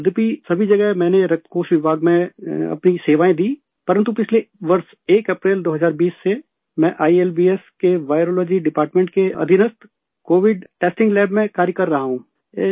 سر، اگرچہ سبھی جگہ میں نےبلڈ بینک کے شعبہ میں اپنی خدمات انجام دیں تاہم گذشتہ سال یکم اپریل، 2020 سے میں آئی ایل بی ایس کے ویرولوجی ڈیپارٹمنٹ کے کووڈ ٹیسٹنگ لیب میں کام کر رہا ہوں